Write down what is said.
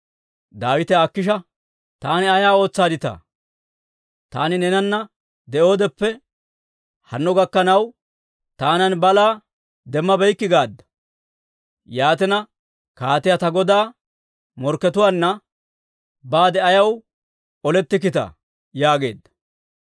Daawite Akiisha, «Taani ay ootsaadditaa? Taani neenana de'oodeppe hanno gakkanaw, taanan balaa demmabeykke gaadda; yaatina, kaatiyaa ta godaa morkkatuwaanna baade ayaw olettikkita?» yaageedda.